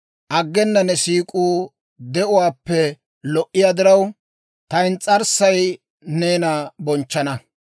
Aggena ne siik'uu de'uwaappe lo"iyaa diraw, ta ins's'arssay neena bonchchana.